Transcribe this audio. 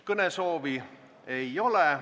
Kõnesoovi ei ole.